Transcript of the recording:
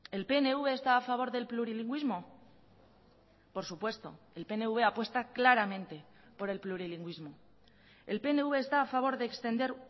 el pnv está a favor del plurilingüismo por supuesto el pnv apuesta claramente por el plurilingüismo el pnv está a favor de extender